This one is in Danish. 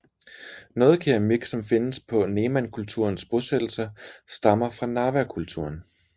Noget keramik som findes på Nemankulturens bosættelser stammer fra Narvakulturen